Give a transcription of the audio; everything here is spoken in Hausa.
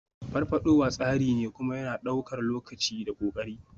Farfadowa tsari ne, kuma yana ɗaukar lokaci da ƙoƙari.